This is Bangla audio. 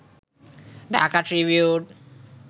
ঢাকা ট্রিবিউন